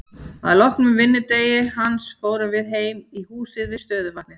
Að loknum vinnudegi hans fórum við heim í húsið við stöðuvatnið.